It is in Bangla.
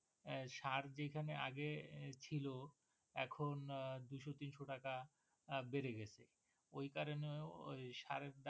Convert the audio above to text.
সার যেখানে আগে ছিল এখন দুইশ তিনশো টাকা বেড়ে গেছে, ওই কারণেও সারের দাম টা